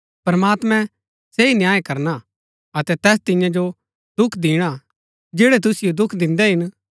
प्रमात्मैं सही न्याय करना अतै तैस तिन्या जो दुख दिणा जैड़ै तुसिओ दुख दिन्दै हिन